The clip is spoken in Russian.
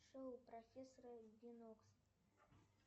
шоу профессора бинокса